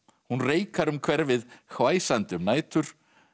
hún reikar um hverfið hvæsandi um nætur